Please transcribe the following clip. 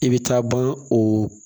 I bɛ taa ban o